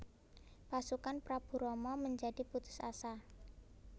Pasukan Prabu Rama menjadi putus asa